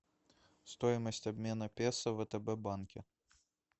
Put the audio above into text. стоимость обмена песо в втб банке